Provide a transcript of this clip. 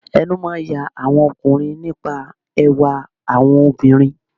Ẹnu máà ń ya àwọn ọkùnrin nípa ẹwà àwọn obìnrin.